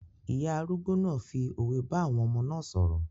Ìyá arúgbó náà fi òwe bá àwọn ọmọ náà sọ̀rọ̀